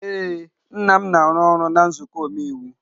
Ee, nna m na-arụ ọrụ na nzuko omeiwu.